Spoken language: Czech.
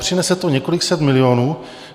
Přinese to několik set milionů.